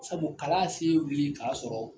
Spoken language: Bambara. Sabu kalan ye se wuli k'a sɔrɔ